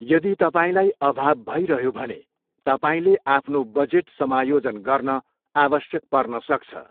यदि तपाईँलाई अभाव भइरह्यो भने तपाईँले आफ्नो बजेट समायोजन गर्न आवश्यक पर्नसक्छ।